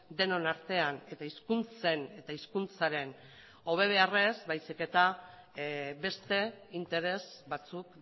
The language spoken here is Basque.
denon artean eta hizkuntzen eta hizkuntzaren hobe beharrez baizik eta beste interes batzuk